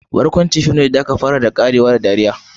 Barkwanci fim ne da aka fara da ƙarewa da dariya.